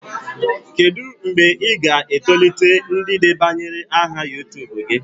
Kedu mgbe ị ga-etolite ndị debanyere aha YuTubu gị?